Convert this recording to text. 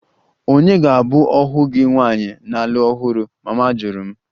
Ònye ga-abụ ohu gị nwaanyị na-alụ ọhụrụ? Mama jụrụ m